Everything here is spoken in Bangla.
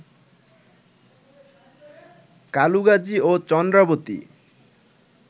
কালুগাজী ও চন্দ্রাবতী